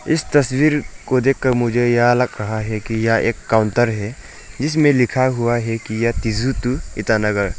इस तस्वीर को देखकर मुझे या लग रहा है कि यह एक काउंटर है जिसमें लिखा हुआ है कि तेजू टु ईटानगर।